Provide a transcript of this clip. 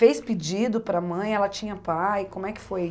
Fez pedido para a mãe, ela tinha pai, como é que foi?